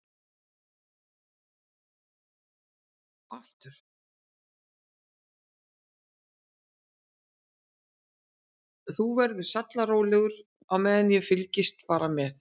Þú verður sallarólegur á meðan og fylgist bara með.